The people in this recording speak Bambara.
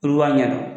Olu b'a ɲɛdɔn